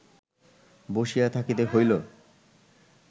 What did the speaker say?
বসিয়া থাকিতে হইল